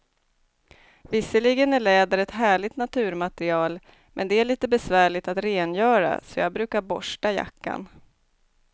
Visserligen är läder ett härligt naturmaterial, men det är lite besvärligt att rengöra, så jag brukar borsta jackan.